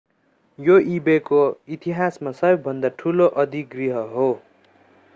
यो ई-बेको इतिहासमा सबैभन्दा ठूलो अधिग्रहण हो